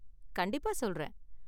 கண்டிப்பா சொல்றேன்